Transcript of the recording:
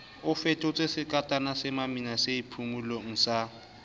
a fetotswesekatana semamina seiphumolo sa